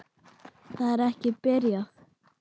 Það er ekki. byrjaði Kobbi.